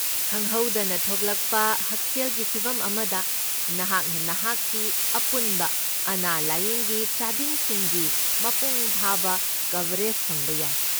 ꯈꯪꯍꯧꯗꯅ ꯊꯣꯛꯂꯛꯄ ꯍꯛꯁꯦꯜꯒꯤ ꯐꯤꯚꯝ ꯑꯃꯗ, ꯅꯍꯥꯛꯅ ꯅꯍꯥꯛꯀꯤ ꯑꯄꯨꯟꯕ ꯑꯅꯥ ꯂꯥꯢꯌꯦꯡꯒꯤ ꯆꯥꯗꯤꯡꯁꯤꯡꯒꯤ ꯃꯄꯨꯡ ꯐꯥꯕ ꯀꯕꯔꯦꯖ ꯐꯪꯕ ꯌꯥꯏ꯫